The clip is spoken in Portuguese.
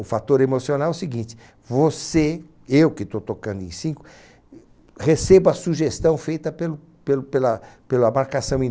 O fator emocional é o seguinte, você, eu que estou tocando em cinco, recebo a sugestão feita pelo pelo pela pela marcação em